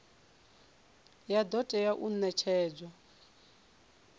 ya do tea u netshedzwa